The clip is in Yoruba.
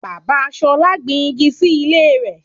Bàbá Ṣolá gbin igi sí ilé rẹ̀